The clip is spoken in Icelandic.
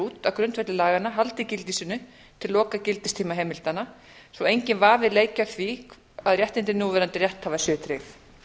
út á grundvelli laganna haldi gildi sínu til lokagildistíma heimildanna svo enginn vafi leiki á því að réttindi núverandi rétthafa séu tryggð